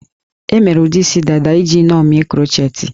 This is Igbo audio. E mere ụdị isi dada iji ṅomie krochetị